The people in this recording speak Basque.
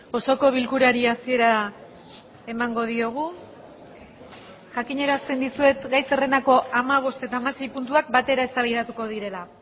osoko bilkurari hasiera emango diogu jakinarazten dizuet gai zerrendako hamabost eta hamasei puntuak batera eztabaidatuko direla